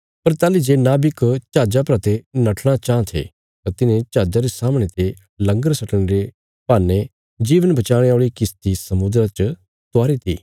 पर ताहली जे नाविक जहाजा परा ते नठणा चां थे तां तिन्हें जहाजा रे सामणे ते लंगर सटणे रे बहान्ने जीवन बचाणे औल़ी किश्ती समुद्रा च उतारी ती